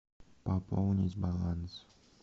пополнить баланс